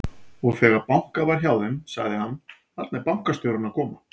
Og þegar bankað var hjá þeim, sagði hann: Þarna er bankastjórinn að koma.